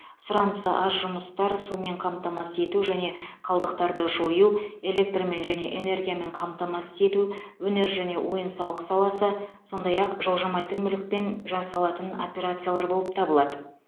сұранысы аз жұмыстар сумен қамтамасыз ету және қалдықтарды жою электрмен және энергиямен қамтамасыз ету өнер және ойын сауық саласы сондай ақ жылжымайтын мүлікпен жасалатын операциялар болып табылады